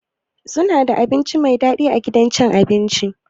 Suna da abinci Mai dadi a gidan abincin nan?